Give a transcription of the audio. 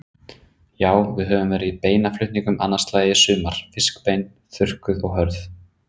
Já, við höfum verið í beinaflutningum annað slagið í sumar, fiskbein, þurrkuð og hörð.